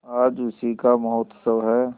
आज उसी का महोत्सव है